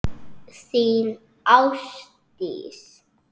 Þín, Ásdís.